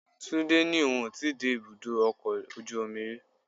Túndé ní òun ó ti dé ibùdó ọkọ̀ ojú omi rí.